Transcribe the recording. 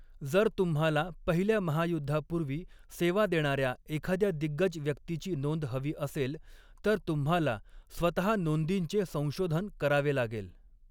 जर तुम्हाला पहिल्या महायुद्धापूर्वी सेवा देणार्या एखाद्या दिग्गज व्यक्तीची नोंद हवी असेल तर तुम्हाला स्वतः नोंदींचे संशोधन करावे लागेल.